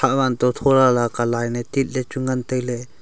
hahwan to tho lala ka line ye tit le chu ngan tai ley.